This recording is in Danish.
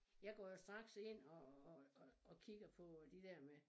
Jeg går jo straks ind og og og og kigger på øh det der med